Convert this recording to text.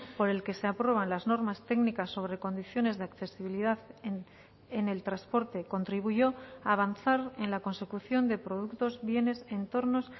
por el que se aprueban las normas técnicas sobre condiciones de accesibilidad en el transporte contribuyó a avanzar en la consecución de productos bienes entornos